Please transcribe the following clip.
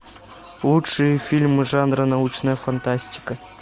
лучшие фильмы жанра научная фантастика